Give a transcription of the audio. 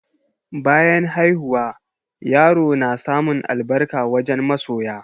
Bayan haihuwa, yarp na samun albarka wajen masoya.